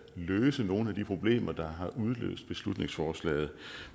løse nogle af de problemer der har udløst beslutningsforslaget